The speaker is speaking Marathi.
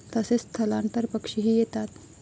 तसेच स्थलांतर पक्षीही येतात.